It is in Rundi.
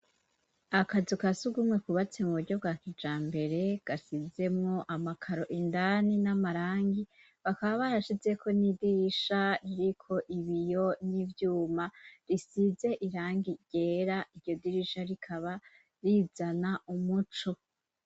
Akazu kasugumwe kubatse mu buryo bwa kijambere gasizemwo amakaro indani n'amarangi bakaba barashizeko n'idirisha riko ibiyo n'ivyuma risize irangi ryera iryo dirisha rikaba rizana umuco